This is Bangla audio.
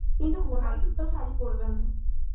কিন্তু মোনালিসা তো শাড়ি পরবেনা.